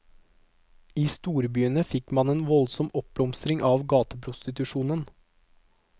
I storbyene fikk man en voldsom oppblomstring av gateprostitusjonen.